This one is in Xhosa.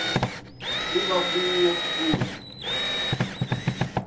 kuba kuwo kushi